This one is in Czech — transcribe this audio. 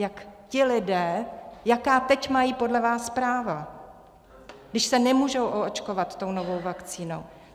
Jak ti lidé, jaká teď mají podle vás práva, když se nemůžou oočkovat tou novou vakcínou?